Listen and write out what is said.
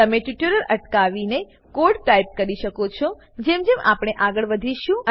તમે ટ્યુટોરીયલ અટકાવીને code type કરી શકો છો જેમ જેમ આપણે આગળ વધીશું